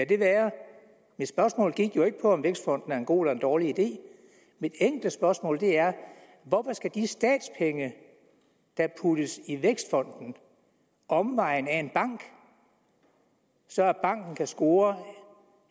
det være mit spørgsmål gik jo ikke på om vækstfonden er en god eller en dårlig idé mit enkle spørgsmål er hvorfor skal de statspenge der puttes i vækstfonden omvejen ad en bank så banken kan score